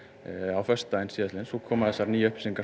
á föstudaginn síðastliðinn en svo komu þessar nýju upplýsingar